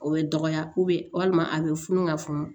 O bɛ dɔgɔya walima a bɛ funu ka funu